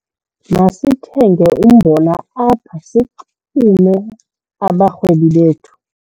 Masithenge umbona apha sixume abarhwebi bethu.